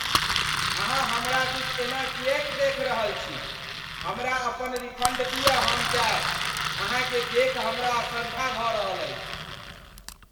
अहाँ हमरा दिस एना किएक देखि रहल छी, हमरा अपन रिफन्ड दियऽ हम जायब। अहाँकेँ देखि हमरा असरधा भऽ रहल अछि।